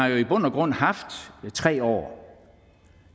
i bund og grund har haft tre år